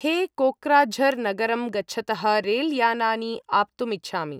हे कोक्राझर् नगरं गच्छतः रेल् यानानि आप्तुम् इच्छामि